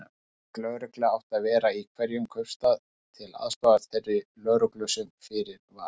Slík lögregla átti að vera í hverjum kaupstað, til aðstoðar þeirri lögreglu sem fyrir var.